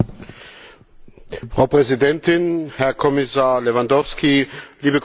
Frau Präsidentin, Herr Kommissar Lewandowski, liebe Kolleginnen und Kollegen!